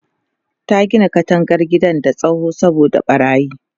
ta Gina katangar gidan da tsawo saboda ɓarayin